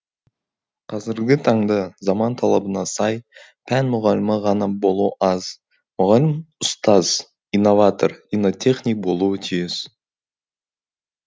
қазіргі таңда заман талабына сай пән мұғалімі ғана болу аз мұғалім ұстаз иноватор иннотехник болуы тиіс